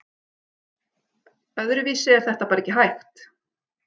Öðruvísi er þetta bara ekki hægt